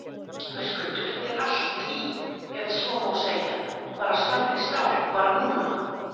Höskuldur: Er allt í, ef svo má segja, bara stál í stál bara núna?